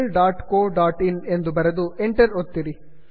googlecoಇನ್ ಎಂದು ಬರೆದು enter ಒತ್ತಿರಿ